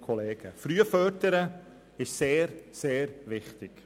Frühes Fördern ist sehr, sehr wichtig.